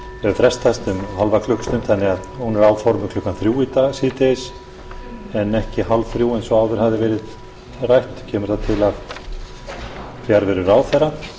frestast um hálfa klukkustund þannig að hún er áformuð klukkan þrjú síðdegis í dag en ekki hálfþrjú eins og áður fahði verið rætt kemur það til af fjarveru ráðherra